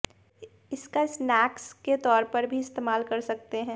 इसका स्नैक्स के तौर पर भी इस्तेमाल कर सकते हैं